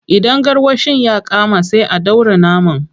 Idan garwashin ya kama, sai a dora naman.